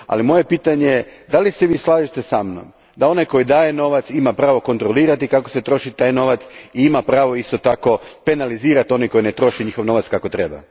Moje pitanje je Da li se Vi slažete sa mnom da onaj tko daje novac ima pravo kontrolirati kako se troši taj novac i ima pravo isto tako penalizirati one koji ne troše svoj novac kako treba?